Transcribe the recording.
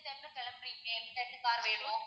எந்த time ல கிளம்புறிங்க, எந்த time க்கு car வேணும்?